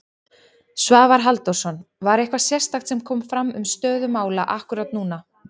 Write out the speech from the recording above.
Svavar Halldórsson: Var eitthvað sérstakt sem kom fram um stöðu mála akkúrat núna?